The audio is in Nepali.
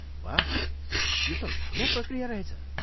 वाह, यो त लामो प्रक्रिया रहेछ।